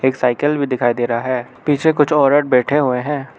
एक साइकिल भी दिखाई दे रहा है पीछे कुछ औरत बैठे हुए हैं।